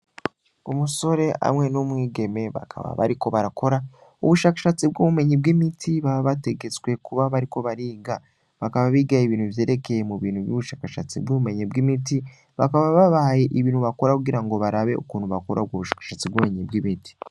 Umusore hamwe n'umwigeme bakaba bariko barakora ubushakashatsi bw'ubumenyi bw'imiti baba bategetswe kuba bariko bariga bakaba bigaye ibintu vyerekeye mu bintu vy'ubushakashatsi bw'ubumenyi bw'imiti bakaba babaye ibintu bakora kugira ngo barabe ukuntu bakora bwo ubushakashatsi bw'umenyi bw'imiti.